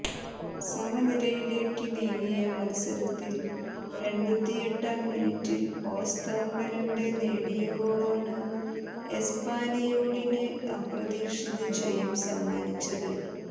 സമനിലയിലേക്ക് നീങ്ങിയ മത്സരത്തിൽ എണ്പത്തിയെട്ടാം മിനിറ്റിൽ ഓസ്താർ മെലെന്റെ നേടിയ ഗോളാണ് എസ്പാനിയോളിന് അപ്രതീക്ഷിത ജയം സമ്മാനിച്ചത്